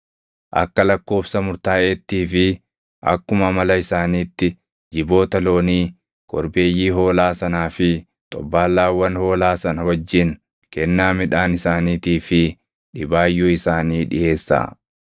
Akka lakkoobsa murtaaʼeettii fi akkuma amala isaaniitti jiboota loonii, korbeeyyii hoolaa sanaa fi xobbaallaawwan hoolaa sana wajjin kennaa midhaan isaaniitii fi dhibaayyuu isaanii dhiʼeessaa.